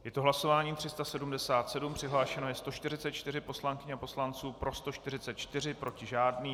Je to hlasování 377, přihlášeno je 144 poslankyň a poslanců, pro 144, proti žádný.